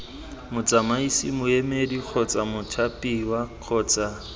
motsamaisi moemedi kgotsa mothapiwa kgotsa